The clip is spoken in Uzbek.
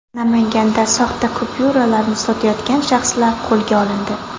Namanganda soxta kupyuralarni sotayotgan shaxslar qo‘lga olindi.